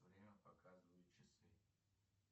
время показывают часы